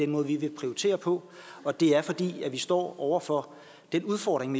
måde vi vil prioritere på og det er fordi vi står over for den udfordring